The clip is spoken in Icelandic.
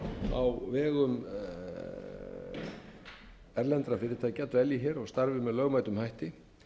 á vegum erlendra fyrirtækja dvelji hér og starfi með lögbundnum hætti